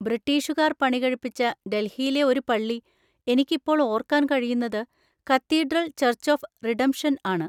ബ്രിട്ടീഷുകാർ പണികഴിപ്പിച്ച ഡൽഹിയിലെ ഒരു പള്ളി, എനിക്ക് ഇപ്പോൾ ഓർക്കാൻ കഴിയുന്നത്, കത്തീഡ്രൽ ചർച്ച് ഓഫ് റിഡംപ്ഷൻ ആണ്.